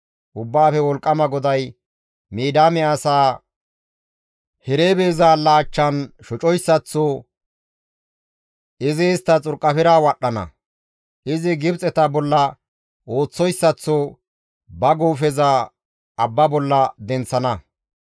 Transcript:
Ubbaafe Wolqqama GODAY, «Midiyaame asaa Hereebe zaalla achchan shocoyssaththo izi istta xurqafera wadhdhana; izi Gibxeta bolla ooththidayssaththo ba guufeza abba bolla denththana.